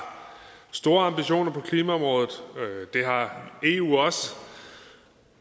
store ambitioner på klimaområdet det har eu også